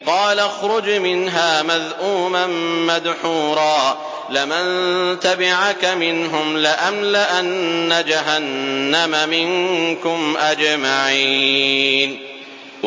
قَالَ اخْرُجْ مِنْهَا مَذْءُومًا مَّدْحُورًا ۖ لَّمَن تَبِعَكَ مِنْهُمْ لَأَمْلَأَنَّ جَهَنَّمَ مِنكُمْ أَجْمَعِينَ